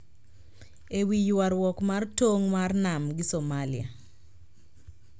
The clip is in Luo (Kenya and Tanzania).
E wi ywaruok mar tong ' mar nam gi Somalia,